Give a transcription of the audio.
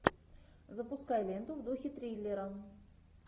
запускай ленту в духе триллера